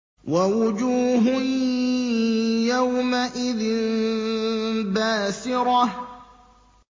وَوُجُوهٌ يَوْمَئِذٍ بَاسِرَةٌ